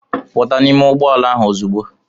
Pụta n'ụgbọala ahụ ozugbo!